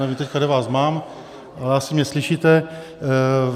Nevím teď, kde vás mám, ale asi mě slyšíte.